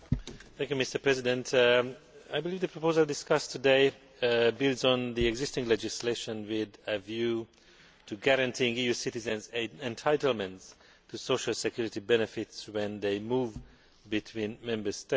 Mr President, I believe the proposal discussed today builds on the existing legislation with a view to guaranteeing EU citizens an entitlement to social security benefits when they move between Member States.